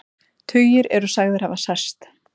Tugir eru sagðir hafa særst